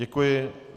Děkuji.